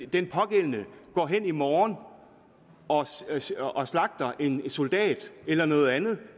den pågældende går hen i morgen og slagter en soldat eller gør noget andet